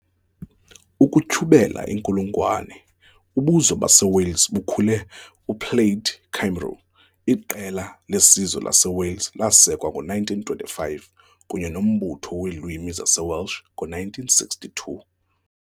Ukutyhubela inkulungwane, ubuzwe baseWales bukhule- UPlaid Cymru, iqela lesizwe laseWales, lasekwa ngo-1925 kunye noMbutho weeLwimi zaseWelsh ngo-1962.